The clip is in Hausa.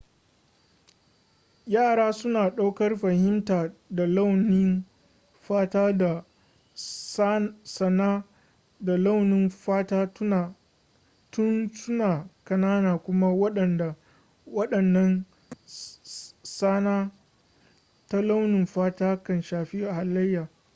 yara suna ɗaukar fahimta ta launin fata da tsana ta launin fata tun suna ƙanana kuma waɗannan tsana ta launin fata kan shafi halayya